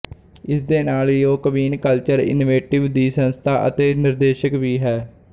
ਇਸਦੇ ਨਾਲ ਹੀਉਹ ਕਵੀਨ ਕਲਚਰ ਈਨੀਵੇਟਿਵ ਦੀ ਸੰਸਥਾਪਕ ਅਤੇ ਨਿਰਦੇਸ਼ਕ ਵੀ ਹੈ